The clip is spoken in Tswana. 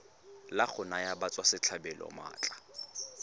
la go naya batswasetlhabelo maatla